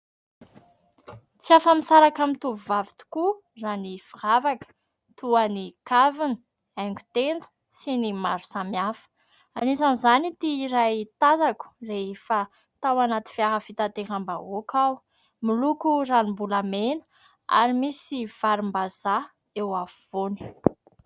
Tsy afa misaraka amin'ny tovovavy tokoa raha ny firavaka toa ny kavina, haigon-tenda sy ny maro samihafa. Isan'izany ity iray tazako rehefa tao anaty fiara fitateram-bahoaka aho miloko ranom-bolamena ary misy varim-bazaha eo afovoany.